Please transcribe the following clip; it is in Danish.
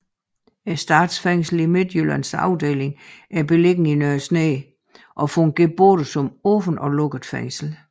Statsfængslet Midtjyllands afdeling er beliggende i Nørre Snede og fungerer både som et åbent og lukket fængsel